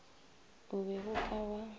o be o ka ba